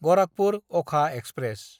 गराखपुर–अखा express